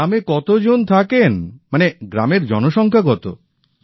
গ্রামে কতো জন থাকেন মানে গ্রামের জনসংখ্যা কতো